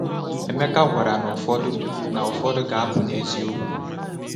Emeka gwara na ụfọdụ na ụfọdụ ga-apụ n’eziokwu.